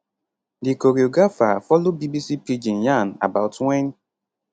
di choreographer follow bbc pidgin yan about wen